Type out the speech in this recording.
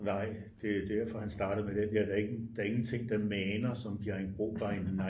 Nej det er derfor han startede med den der der er ingenting der maner som Bjerringbro by night